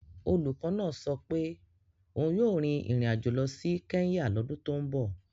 Olùkọ́ náà sọ pé òun yóò rin ìrìn àjò lọ sí Kenya lọ́dún tó ń bọ̀.